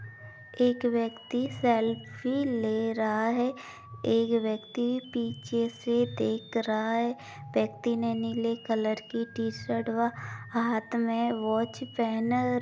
एक व्यक्ति सेल्फ़ी ले रहा है एक व्यक्ति पीछे से देख रहा है व्यक्ति ने नीले कलर की टीशर्ट व हाथ मे वॉच पहन --